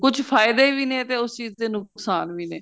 ਕੁੱਝ ਫਾਇਦੇ ਵੀ ਨੇ ਤੇ ਉਸ ਚੀਜ਼ ਦੇ ਨੁਕਸਾਨ ਵੀ ਨੇ